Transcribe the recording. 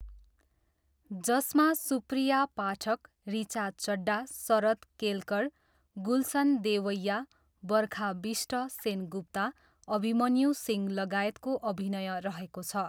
जसमा सुप्रिया पाठक, ऋचा चड्डा, शरद केलकर, गुलसन देवैया, बर्खा बिष्ट सेनगुप्ता, अभिमन्यु सिंह लगायतको अभिनय रहेको छ।